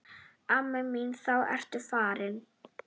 Amma mín þá ertu farin.